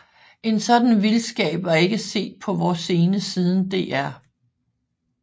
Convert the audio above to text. En sådan vildskab var ikke set på vor scene siden Dr